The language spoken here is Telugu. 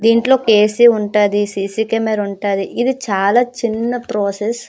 దీంట్లో ఒక ఏసి ఉంటది ఒక సీసీ కెమెరా ఉంటది ఇదై చిన్న ప్రాసెస్ .